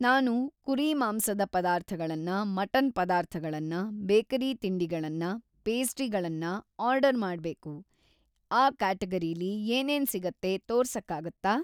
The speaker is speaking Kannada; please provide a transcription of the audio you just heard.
ನಾನು ಕುರಿಮಾಂಸದ ಪದಾರ್ಥಗಳನ್ನ, ಮಟನ್‍ ಪದಾರ್ಥಗಳನ್ನ, ಬೇಕರಿ ತಿಂಡಿಗಳನ್ನ, ಪೇಸ್ಟ್ರಿಗಳನ್ನ ಆರ್ಡರ್‌ ಮಾಡ್ಬೇಕು, ಆ ಕ್ಯಾಟಗರೀಲಿ ಏನೇನ್‌ ಸಿಗತ್ತೆ ತೋರ್ಸಕ್ಕಾಗತ್ತಾ?